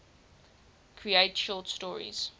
create short stories